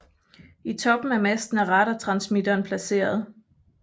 I toppen af masten er radartransmitteren placeret